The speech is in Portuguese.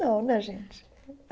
Não, né, gente?